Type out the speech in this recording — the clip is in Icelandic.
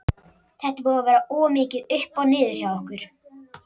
Þetta er búið að vera of mikið upp og niður hjá okkur.